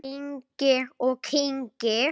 Kyngir og kyngir.